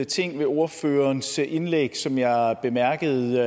ting ved ordførerens indlæg som jeg bemærkede